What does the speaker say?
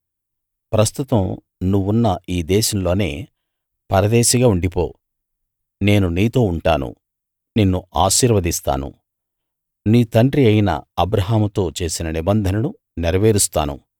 ప్రస్తుతం నువ్వున్న ఈ దేశంలోనే పరదేశిగా ఉండిపో నేను నీతో ఉంటాను నిన్ను ఆశీర్వదిస్తాను నీ తండ్రి అయిన అబ్రాహాముతో చేసిన నిబంధనను నెరవేరుస్తాను